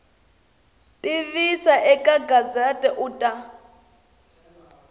tivisa eka gazette u ta